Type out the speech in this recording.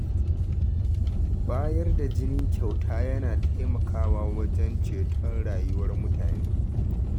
Bayar da jini kyauta yana taimakawa wajen ceton rayuwar mutane.